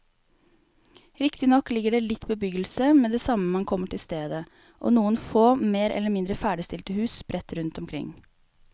Riktignok ligger det litt bebyggelse med det samme man kommer til stedet og noen få mer eller mindre ferdigstilte hus sprett rundt omkring.